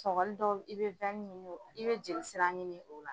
Sɔgɔli dɔw i bɛ ɲini i bɛ jeli sira ɲini o la.